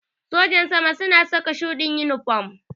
Sojin sama suna saka shuɗin inifam